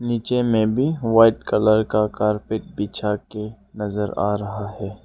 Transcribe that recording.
नीचे में भी व्हाइट कलर का कार्पेट बिछा के नजर आ रहा है।